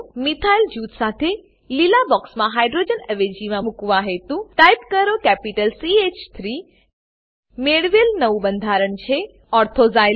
methyl જૂથ સાથે લીલા બોક્સમાં હાઇડ્રોજન અવેજીમાં મુકવા હેતુ ટાઈપ કરો કેપિટલ સી હ 3 મેળવેલ નવું બંધારણ છે ortho ઝાયલીન ઓર્થો ઝાયલીન